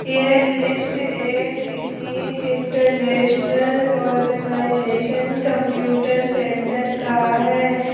ये दृश्य एक unique international organisation computer centre का है।